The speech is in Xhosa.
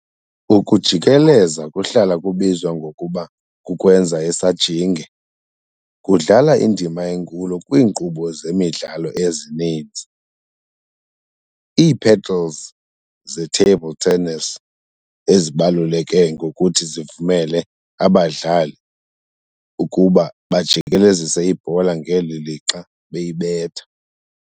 Ukujikeleza, kuhlala kubizwa ngokuba kukwenza isajinge, kudlala indima enkulu kwiinkqubo zemidlalo ezininzi. Iipaddles ze-Table tennis azibaluleke ngokuthi zivumele abadlali ukuba bajikelezise ibhola ngeli lixa beyibetha.